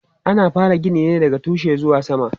Ana fara gini ne daga tushe zuwa sama.